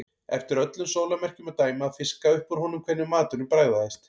Eftir öllum sólarmerkjum að dæma að fiska upp úr honum hvernig maturinn bragðaðist.